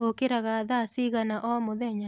ũkĩraga thaa cigana omũthenya?